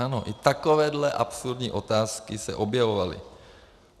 Ano, i takovéto absurdní otázky se objevovaly.